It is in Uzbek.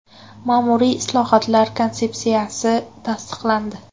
Ma’muriy islohotlar konsepsiyasi tasdiqlandi.